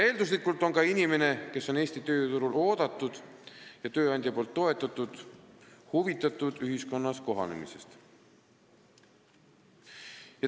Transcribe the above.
Eelduslikult on inimene, kes on Eesti tööturul oodatud ja tööandja poolt toetatud, huvitatud ka ühiskonnas kohanemisest.